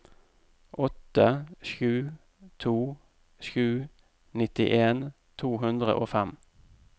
åtte sju to sju nittien to hundre og fem